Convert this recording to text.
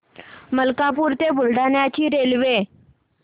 मलकापूर ते बुलढाणा ची रेल्वे